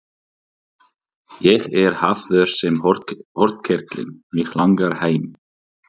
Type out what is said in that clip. Ég er hafður sem hornkerling, mig langar heim.